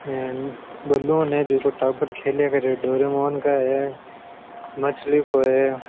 ये बलून है जिको टाबर खेले कर डोरेमोन का है मछली को है।